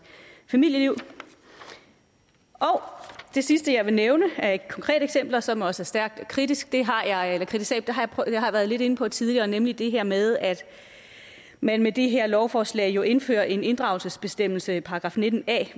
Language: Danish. familieliv og det sidste jeg vil nævne er et konkret eksempel som også er stærkt kritisabelt det har jeg været lidt inde på tidligere nemlig det her med at man med det her lovforslag jo indfører en inddragelsesbestemmelse i § 19a